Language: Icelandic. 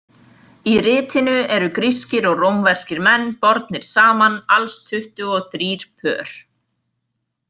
Í ritinu eru grískir og rómverskir menn bornir saman, alls tuttugu og þrír pör.